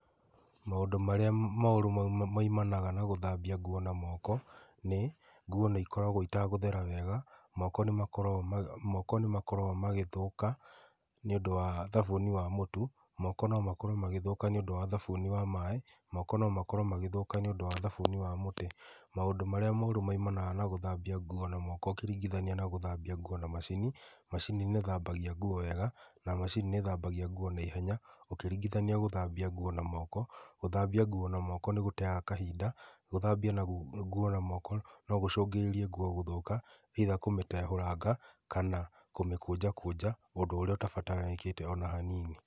Maũndũ marĩa moru maumanaga na gũthambia nguo na moko nĩ, nguo nĩ ikoragwo itagũthera wega, moko nĩmakoro, moko nĩmakoro magĩthũka nĩũndũ wa thabuni wa mũtu, moko nomakorwo magĩthũka nĩũndũ wa thabuni wa maaĩ, moko nomakorwo magĩthũka nĩũndũ wa thabuni wa mũtĩ. Maũndũ marĩa moru maumanaga na gũthambia nguo na moko ũkĩringithania na gũthambia nguo na macini, macini nĩ ĩthambagia nguo wega, na macini nĩ ĩthambagia nguo na ihenya ũkĩringithania gũthambia nguo na moko. Gũthambia nguo na moko nĩgũteaga kahinda, gũthambia nguo na moko nogũcũngĩrĩrie nguo gũthũka, either kũmĩtehũranga kana kũmĩkũnjakũnja ũndũ ũrĩa ũtabataranĩkĩte ona hanini.